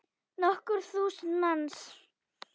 Nokkur þúsund manns.